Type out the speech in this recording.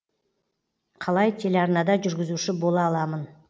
қалай телеарнада жүргізуші бола аламын